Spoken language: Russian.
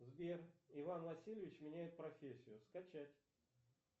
сбер иван васильевич меняет профессию скачать